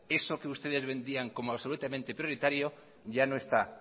eso que ustedes vendían como absolutamente prioritario ya no está